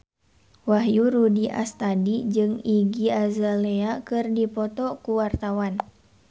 Wahyu Rudi Astadi jeung Iggy Azalea keur dipoto ku wartawan